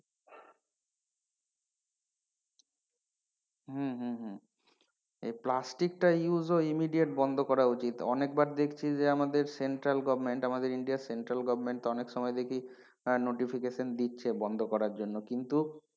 হম hmm hmm এই plastic টা use ও immediate বন্ধ করা উচিত অনেকবার দেখছি যে আমাদের central government আমাদের ইন্ডিয়ার central government অনেক সময় দেখি আহ notification দিচ্ছে বন্ধ করার জন্য কিন্তু,